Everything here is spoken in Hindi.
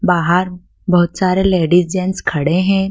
बाहर बहुत सारे लेडिस जेंट्स खड़े हैं।